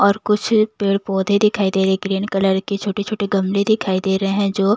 और कुछ अ पेड़-पौधे दिखाई दे रहे ग्रीन कलर के छोटे-छोटे गमले दिखाई दे रहे हैं जो--